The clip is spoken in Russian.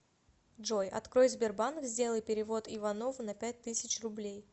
джой открой сбербанк сделай перевод иванову на пять тысяч рублей